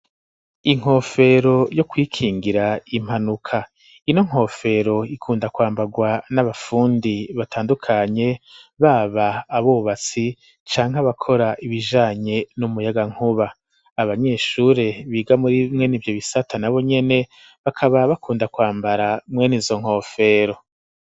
inkofero yo kwikingira impanuka, ino nkofero ikunda kwambagwa n'abafundi batandukanye baba abubatsi canke abakora ibijanye n'umuyagankuba, abanyeshure biga muri mwenivyo bisata nabo nyene bakaba bakunda kwambara mwenizo nkofero.